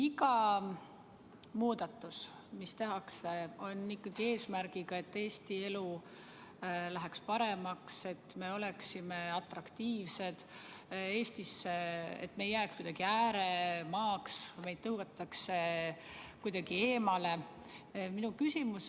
Iga muudatus, mis tehakse, on ikkagi eesmärgiga, et Eesti elu läheks paremaks, et me oleksime Eestis atraktiivsed, et me ei muutuks ääremaaks, et meid ei tõugataks kuidagi eemale.